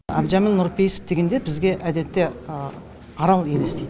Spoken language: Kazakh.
әбдіжәміл нұрпейісов дегенде бізге әдетте арал елестейді